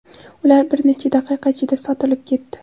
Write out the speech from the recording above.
Ular bir necha daqiqa ichida sotilib ketdi.